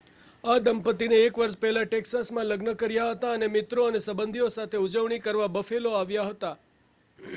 આ દંપતીએ 1 વર્ષ પહેલા ટેક્સાસમાં લગ્ન કર્યા હતા અને મિત્રો અને સંબંધીઓ સાથે ઉજવણી કરવા બફેલો આવ્યા હતા